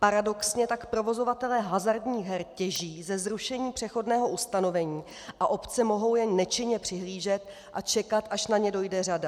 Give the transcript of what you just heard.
Paradoxně tak provozovatelé hazardních her těží ze zrušení přechodného ustanovení a obce mohou jen nečinně přihlížet a čekat, až na ně dojde řada.